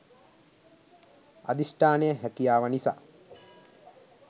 අධිෂ්ඨානය හැකියාව නිසා